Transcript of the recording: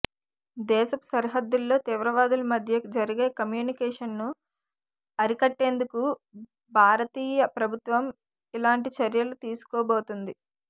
దేశపు సరిహద్దులో తీవ్రవాదుల మధ్య జరిగే కమ్యూనికేషన్ను అరికట్టేందుకు భారతీయ ప్రభుత్వం ఇలాంటి చర్యలు తీసుకోబుతుంది